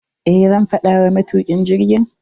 Eh, zan faɗa wa matukin jirgin.